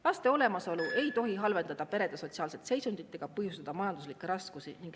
Laste olemasolu ei tohi halvendada perede sotsiaalset seisundit ega põhjustada majanduslikke raskusi.